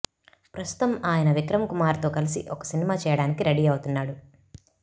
ప్రస్తుతం ఆయన విక్రమ్ కుమార్ తో కలిసి ఒక సినిమా చేయడానికి రెడీ అవుతున్నాడు